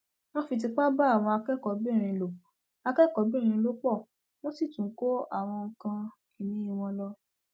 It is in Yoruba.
wọn fi tipa bá àwọn akẹkọọbìnrin lò akẹkọọbìnrin lò pọ wọn sì tún kó àwọn nǹkan ìní wọn lọ